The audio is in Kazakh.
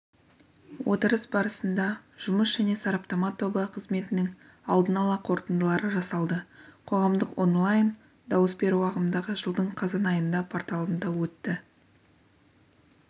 отырыс барысында жұмыс және сараптама тобы қызметінің алдын ала қорытындылары жасалды қоғамдық онлайн дауыс беру ағымдағы жылдың қазан айында порталында өтеді